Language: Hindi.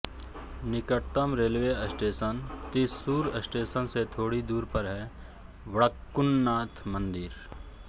निकटतम रेलवे स्टेशन तृश्शूर स्टेशन से थोड़ी दूर पर है वडक्कुंन्नाथ मंदिर